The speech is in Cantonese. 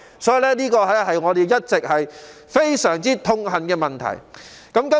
這是我們一直非常痛恨的問題。